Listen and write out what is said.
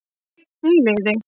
Einn í liði